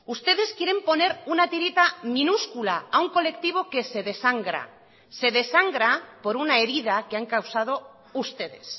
ustedes quieren poner una tirita minúscula a un colectivo que se desangra se desangra por una herida que han causado ustedes